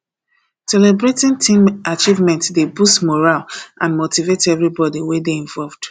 celebrating team achievements dey boost morale and motivate everybody wey dey involved